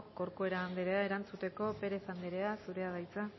corcuera andrea erantzuteko pérez andrea zurea da hitza